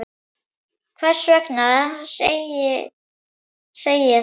Hvers vegna segi ég það?